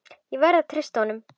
Ég verð að treysta honum.